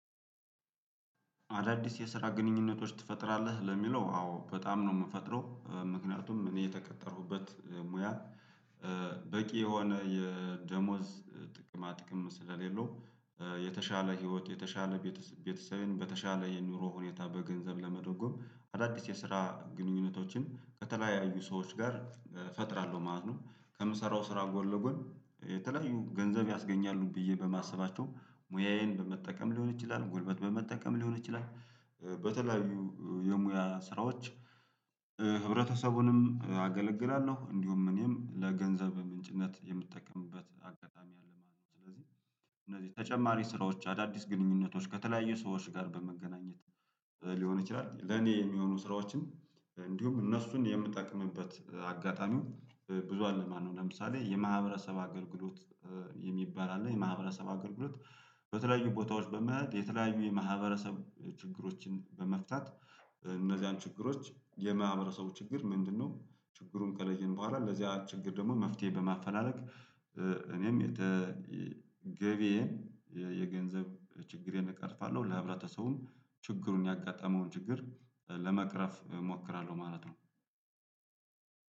አዳዲስ የስራ ግኑኙነቶች ትፈጥራለህ ለሚለው አዎ በጣም ነው የምፈጥረው ምክንያቱም እኔ የተቀጠሩበት ሙያ። እ በቂ የሆነ የደሞዝ ጥቅማጥቅም ስለሌለው የተሻለ ህይወት የተሻለ ቤተሰቤን በተሻለ የኑሮ ሁኔታ በገንዘብ ለመደጎም አዳዲስ የስራ ግንኙነቶችን ከተለያዩ ሰዎች ጋር ፈጥራለሁ ማለት ነው። ከምሰራው ስራ ጎን ለጎን የተለያዩ ገንዘብ ያስገኛሉ ብዬ በማሰባቸው ሙያዬን በመጠቀም ሊሆን ይችላል ጉልበት በመጠቀም ሊሆን ይችላል በተለያዩ የሙያ ስራዎች። ህብረተሰቡንም አገለግላለሁ እንዲሁም እኔም ለገንዘብ ምንጭነት የምጠቀምበት አጋጣሚ አለ ማለት ነው። ስለዚህ እነዚህ ተጨማሪ ስራዎች አዳዲስ ግንኙነቶች ከተለያዩ ሰዎች ጋር በመገናኘት ሊሆን ይችላል። ለኔ የሚሆኑ ስራዎችን እንዲሁም እነሱን የምጠቅምበት አጋጣሚው ብዙ አለማነው ለምሳሌ የማህበረሰብ አገልግሎት። የሚባል አለ የማህበረሰብ አገልግሎት በተለያዩ ቦታዎች በመኸል የተለያዩ የማህበረሰብ ችግሮችን በመፍታት እነዚያን ችግሮች የማህበረሰቡ ችግር ምንድነው? ችግሩን ከለየን በኋላ ለዚያ ችግር ደግሞ መፍትሄ በማፈላለግ እኔም የተ ገቢዬን የገንዘብ ችግሬን እቀርፋለሁ። ለህብረተሰቡም ችግሩን ያጋጠመውን ችግር ለመቅረፍ እሞክራለሁ ማለት ነው።